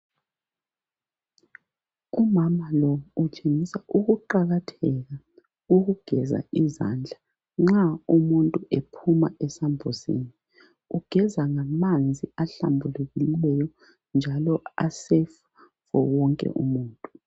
Umama lo utshengisela ukuqakatheka koku geza izandla nxa umuntu ephuma esambuzini ugeza ngamanzi ahlambulikileyo njalo a sefu fo wonke umuntu.